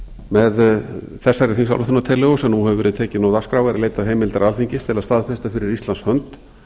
með þessari þingsályktunartillögu sem nú hefur verið tekin á dagskrá er leitað heimildar alþingi til að staðfesta fyrir íslands hönd